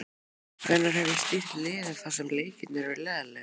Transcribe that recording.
Hvenær hef ég stýrt liði þar sem leikirnir eru leiðinlegir?